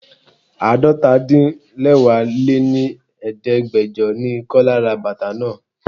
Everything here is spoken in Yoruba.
Àádọ́ta -din-lẹwá lé ní Ẹ̀ẹ́dẹ́gbẹjọ ni Kọ́lá ra bàtà náà.